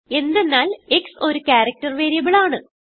എന്തെന്നാൽ x ഒരു character variable ആണ്